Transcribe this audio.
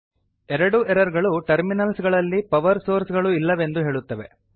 ಎರಡೂ ಎರರ್ ಗಳು ಟರ್ಮಿನಲ್ಸ್ ಗಳಲ್ಲಿ ಪವರ್ ಸೋರ್ಸ್ ಗಳು ಇಲ್ಲವೆಂದು ಹೇಳುತ್ತವೆ